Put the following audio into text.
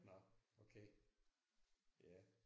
Nåh okay ja